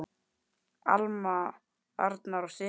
Alma, Arnar og synir.